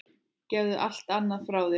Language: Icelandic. Gefðu allt annað frá þér.